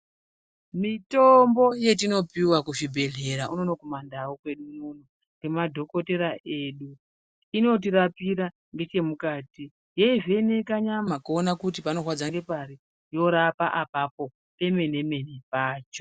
Mitombo yetinopiwa kuzvibhedhlera unoono kumandau kwedu unono ngemadhokotera edu, inotirapira ngechemukati yeivheneka nyama kuona kuti panorwadza ngepari, yorapa apapo pemene-mene pacho.